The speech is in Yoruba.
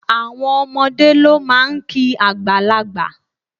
Àwọn omodé ló máa n kí àgbàlagbà